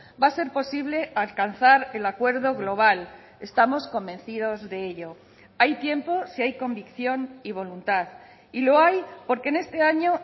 va a ser posible alcanzar el acuerdo global estamos convencidos de ello hay tiempo si hay convicción y voluntad y lo hay porque en este año